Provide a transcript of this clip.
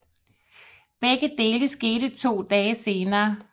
Begge dele skete to dage senere